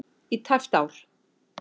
í tæpt ár.